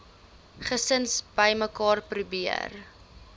gesin bymekaar probeer